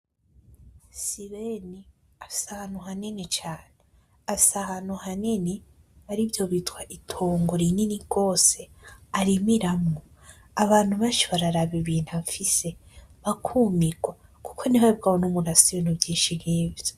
Sibeni afise ahantu hanini cane afise ahantu hanini arivyo bitwa itongo rinini rwose arimiramo abantu benshi bararaba ibintu afise bakumirwa kuko ntihabwabone umuntu ufise ibintu vyinshi nkivyo.